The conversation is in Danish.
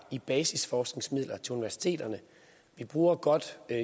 i basisforskningsmidler til universiteterne vi bruger godt